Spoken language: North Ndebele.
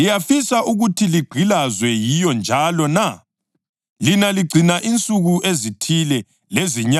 Lina ligcina insuku ezithile lezinyanga, izikhathi zomnyaka kanye leminyaka!